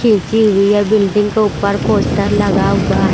खींची हुई है बिल्डिंग के ऊपर पोस्टर लगा हुआ है।